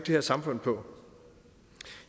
her samfund på